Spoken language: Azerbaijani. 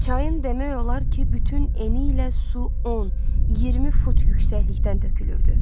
Çayın demək olar ki, bütün eni ilə su 10, 20 fut yüksəklikdən tökülürdü.